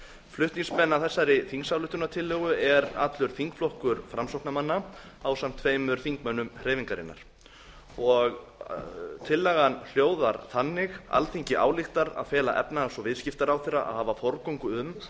flutningsmenn að þessari þingsályktunartillögu er allur þingflokkur framsóknarmanna ásamt tveimur þingmönnum hreyfingarinnar tillagan hljóðar þannig alþingi ályktar að fela efnahags og viðskiptaráðherra að hafa forgöngu um